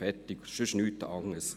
– Fertig; nichts anders.